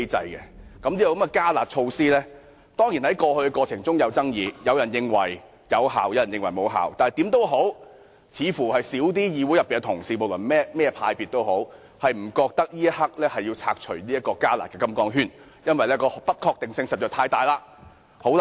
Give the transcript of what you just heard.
此"加辣"措施過去當然有爭議，有人認為有效，亦有人認為無效，但無論如何，議會內任何派別的同事，大多認為此刻無需要拆除"加辣"的"金剛圈"，因為不確定因素實在太多。